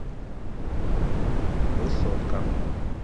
высотка